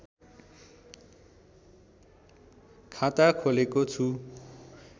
खाता खोलेको छु